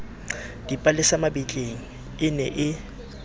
dipalesa mabitleng e ne e